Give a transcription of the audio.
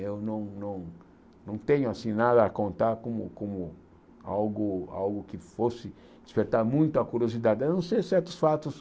Eu não eu não tenho nada a contar como como algo algo que fosse despertar muito a curiosidade, a não ser certos fatos.